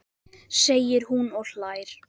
segir hún og hlær.